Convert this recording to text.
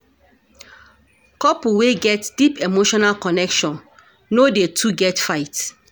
Couple wey get deep emotional connection no dey too get fight.